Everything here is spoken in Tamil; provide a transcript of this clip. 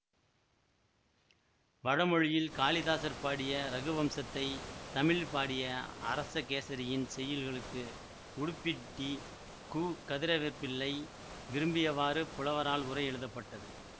வடமொழியில் காளிதாசர் பாடிய இரகுவம்சத்தைத் தமிழில் பாடிய அரசகேசரியின் செய்யுள்களுக்கு உடுப்பிட்டி கு கதிரவேற்ப்பிள்ளை விரும்பியவாறு புலவரால் உரை எழுதபட்டது